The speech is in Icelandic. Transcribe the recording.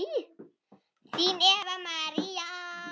Þín Eva María.